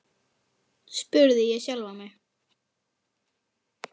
spurði ég sjálfan mig.